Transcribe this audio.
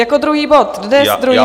Jako druhý bod, dnes druhý bod.